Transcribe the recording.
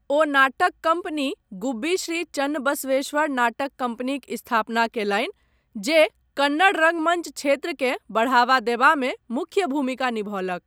ओ नाटक कम्पनी गुब्बी श्री चन्नबसवेश्वर नाटक कम्पनीक स्थापना कयलनि जे कन्नड़ रङ्गमञ्च क्षेत्रकेँ बढ़ावा देबामे मुख्य भूमिका निभौलक।